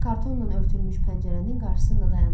Kartonnan örtülmüş pəncərənin qarşısında dayandı.